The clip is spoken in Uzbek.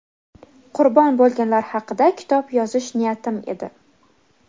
qurbon bo‘lganlar haqida kitob yozish niyatim edi.